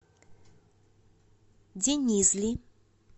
денизли